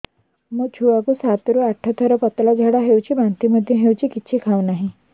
ମୋ ଛୁଆ କୁ ସାତ ରୁ ଆଠ ଥର ପତଳା ଝାଡା ହେଉଛି ବାନ୍ତି ମଧ୍ୟ୍ୟ ହେଉଛି କିଛି ଖାଉ ନାହିଁ